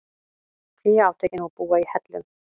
Flýja átökin og búa í hellum